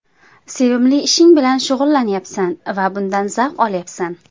Sevimli ishing bilan shug‘ullanyapsan va bundan zavq olyapsan.